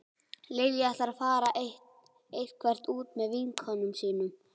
Lilja ætlar að fara eitthvert út með vinkonum sínum